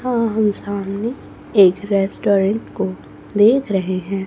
हां हम सामने एक रेस्टोरेंट को देख रहे हैं।